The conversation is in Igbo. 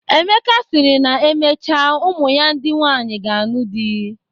Emeka sịrị na emechaa ụmụ ya ndị nwaanyị ga-anụ di.